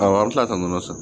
Awɔ an bɛ tila ka nɔnɔ san